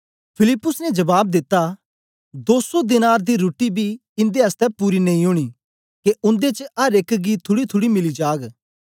फिलिप्पुस ने जबाब दिता दो सौ दीनार दी रुट्टी बी इंदे आसतै पूरी नेई ओनी के उन्दे च अर एक गी थुड़ीथुड़ी मिली जाग